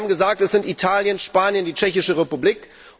Sie haben gesagt, es sind Italien, Spanien, die Tschechische Republik.